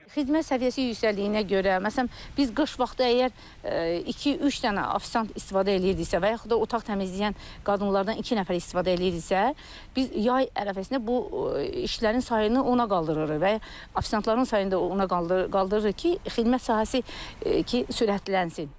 Xidmət səviyyəsi yüksəldiyinə görə, məsələn, biz qış vaxtı əgər iki üç dənə offisiant istifadə eləyirdiksə və yaxud da otaq təmizləyən qadınlardan iki nəfər istifadə eləyirdiksə, biz yay ətrafında bu işlərin sayını ona qaldırırıq və offisiantların sayını da ona qaldırırıq ki, xidmət sahəsi sürətlənsin.